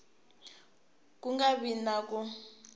ku nga vi na ku